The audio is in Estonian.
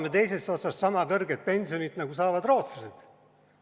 Me loodame sama kõrget pensioni, nagu saavad rootslased.